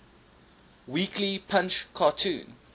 weekly punch cartoon